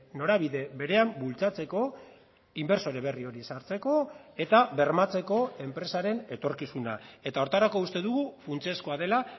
norabide berean bultzatzeko inbertsore berri hori sartzeko eta bermatzeko enpresaren etorkizuna eta horretarako uste dugu funtsezkoa dela